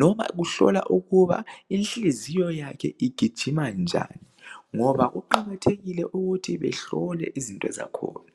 loba kuhlola ukuba inhliziyo yakhe igijima njani ngoba kuqakathekile ukuthi behlole izinto zakhona.